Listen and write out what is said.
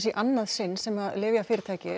annað sinn sem lyfjafyrirtæki